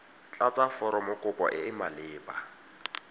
tlatsa foromokopo e e maleba